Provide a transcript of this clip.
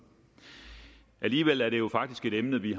alligevel er det jo faktisk et emne vi